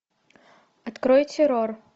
открой террор